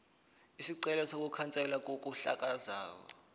isicelo sokukhanselwa kokuhlakazwa